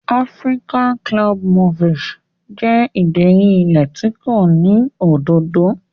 African club moss jẹ́ ìdérí ilẹ̀ tí kò ní òdòdó.